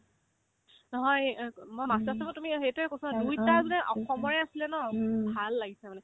নহয় এ অ এ অক মই master chef ত আছো বাৰু তুমি অ সেইটো কৈছোনে নাই দুইটাই যে অসমৰে আছিলে ন ভাল লাগিছে মানে